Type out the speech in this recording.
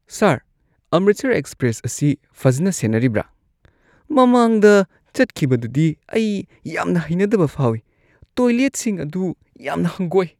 ꯁꯥꯔ, Amritsar express ꯑꯁꯤ ꯐꯖꯅ ꯁꯦꯟꯅꯔꯤꯕ꯭ꯔꯥ? ꯃꯃꯥꯡꯗ ꯆꯠꯈꯤꯕꯗꯨꯗꯤ ꯑꯩ ꯌꯥꯝꯅ ꯍꯩꯅꯗꯕ ꯐꯥꯎꯋꯤ ꯫ ꯇꯣꯏꯂꯦꯠꯁꯤꯡ ꯑꯗꯨ ꯌꯥꯝꯅ ꯍꯪꯒꯣꯏ꯫